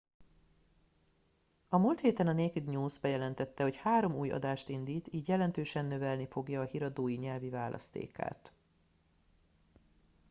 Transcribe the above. a múlt héten a naked news bejelentette hogy három új adást indít így jelentősen növelni fogja a híradói nyelvi választékát